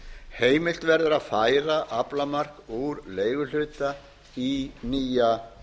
heimilt verður að færa aflamark úr leiguhluta í nýja